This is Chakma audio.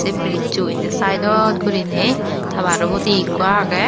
ey birizzo inni saedot guriney tabaro hudi ikko agey.